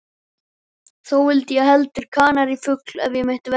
Þó vildi ég heldur kanarífugl, ef ég mætti velja.